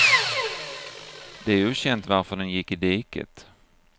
Det är okänt varför den gick i diket.